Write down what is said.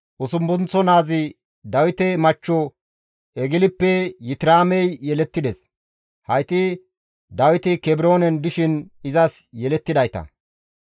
Usuppunththo naazi Dawite machcho Eglippe Yitiraamey yelettides; hayti Dawiti Kebroonen dishin izas yelettidayta.